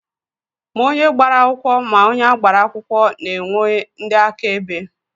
Ma onye gbara akwụkwọ ma onye agbara akwụkwọ na-enwe ndị áká ebe.